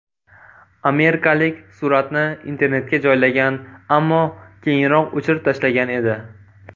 Amerikalik suratni internetga joylagan, ammo keyinroq o‘chirib tashlagan edi.